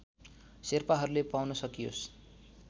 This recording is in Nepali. शेर्पाहरूले पाउन सकियोस्